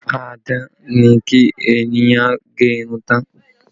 Fá-a-dán ni kí ènìyàn gẹ irun tán